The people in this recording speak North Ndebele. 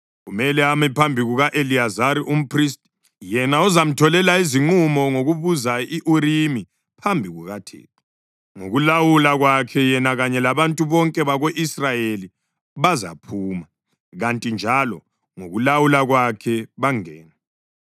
Kumele ame phambi kuka-Eliyazari umphristi, yena ozamtholela izinqumo ngokubuza i-Urimi phambi kukaThixo. Ngokulawula kwakhe yena kanye labantu bonke bako-Israyeli bazaphuma, kuthi njalo ngokulawula kwakhe bangene.”